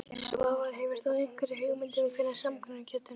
Svavar: Hefur þú einhverja hugmynd um hvenær samkomulag getur náðst?